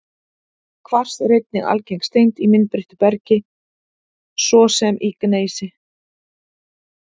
Kvars er einnig algeng steind í myndbreyttu bergi, svo sem í gneisi.